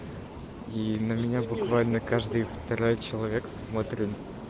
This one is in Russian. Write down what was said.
и на меня буквально каждый второй человек смотрит